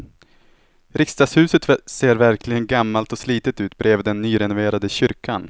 Riksdagshuset ser verkligen gammalt och slitet ut bredvid den nyrenoverade kyrkan.